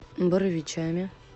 боровичами